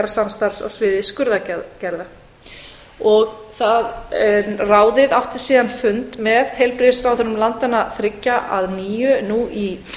samstarfs á sviði skurðaðgerða ráðið átti síðan fund með heilbrigðisráðherrum landanna þriggja að nýju nú í